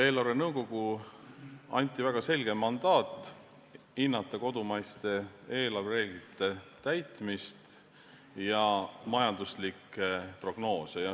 Eelarvenõukogule anti väga selge mandaat: hinnata kodumaiste eelarvereeglite täitmist ja majanduslikke prognoose.